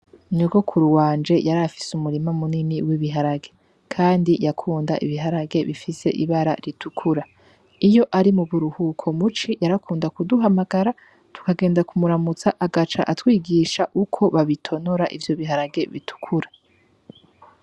Nyogokuru wanje yarafise umurima munini w'ibiharage, kandi yakunda ibiharage bifise ibara ritukura iyo ari mu buruhuko muci yarakunda kuduhamagara tukagenda kumuramutsa agaca atwigisha uko babitonora ivyo biharage bitukura.